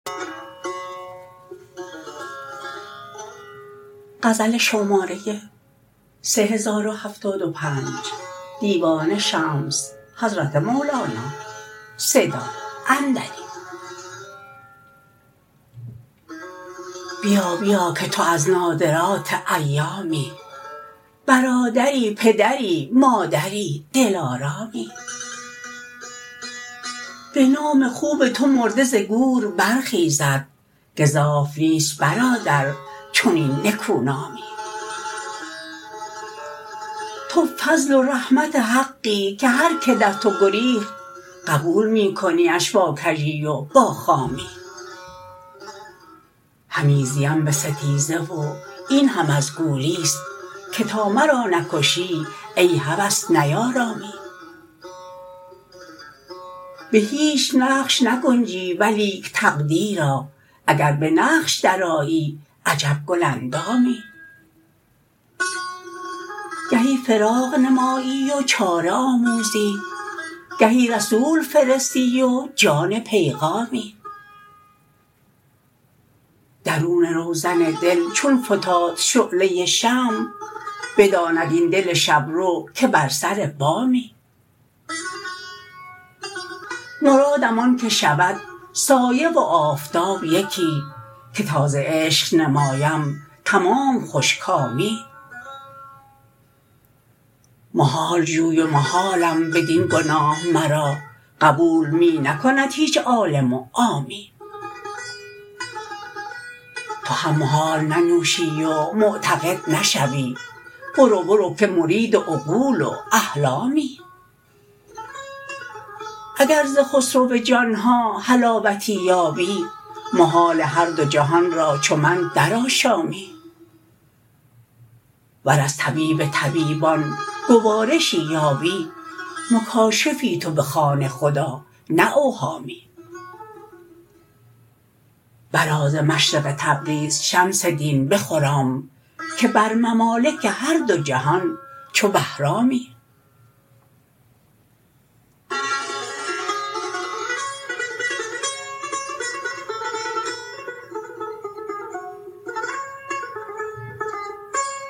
بیا بیا که تو از نادرات ایامی برادری پدری مادری دلارامی به نام خوب تو مرده ز گور برخیزد گزاف نیست برادر چنین نکونامی تو فضل و رحمت حقی که هر که در تو گریخت قبول می کنیش با کژی و با خامی همی زیم به ستیزه و این هم از گولی ست که تا مرا نکشی ای هوس نیارامی به هیچ نقش نگنجی ولیک تقدیرا اگر به نقش درآیی عجب گل اندامی گهی فراق نمایی و چاره آموزی گهی رسول فرستی و جان پیغامی درون روزن دل چون فتاد شعله شمع بداند این دل شب رو که بر سر بامی مرادم آنکه شود سایه و آفتاب یکی که تا ز عشق نمایم تمام خوش کامی محال جوی و محالم بدین گناه مرا قبول می نکند هیچ عالم و عامی تو هم محال ننوشی و معتقد نشوی برو برو که مرید عقول و احلامی اگر ز خسرو جان ها حلاوتی یابی محال هر دو جهان را چو من درآشامی ور از طبیب طبیبان گوارشی یابی مکاشفی تو بخوان خدا نه اوهامی برآ ز مشرق تبریز شمس دین بخرام که بر ممالک هر دو جهان چو بهرامی